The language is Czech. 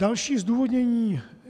Další zdůvodnění.